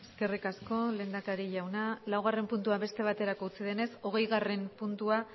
eskerrik asko lehendakari jauna laugarren puntua beste baterako utzi denez hogeigarren puntua